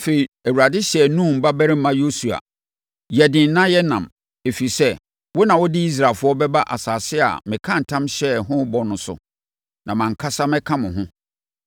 Afei, Awurade hyɛɛ Nun babarima Yosua sɛ, “Yɛ den na yɛ nnam, ɛfiri sɛ, wo na wode Israelfoɔ bɛba asase a mekaa ntam hyɛɛ ho bɔ no so, na mʼankasa mɛka mo ho.”